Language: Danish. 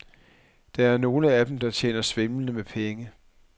Der er nogle af dem, der tjener svimlende med penge.